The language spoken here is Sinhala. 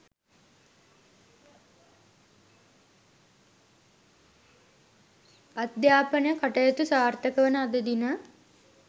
අධ්‍යාපන කටයුතු සාර්ථකවන අද දින